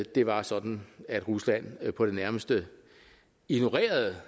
det var sådan at rusland på det nærmeste ignorerede